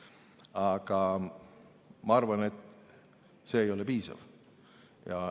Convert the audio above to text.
Aga ma arvan, et see ei ole piisav.